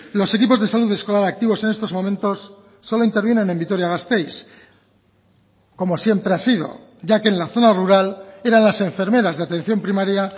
los equipos de salud escolar activos en estos momentos solo intervienen en vitoria gasteiz como siempre ha sido ya que en la zona rural eran las enfermeras de atención primaria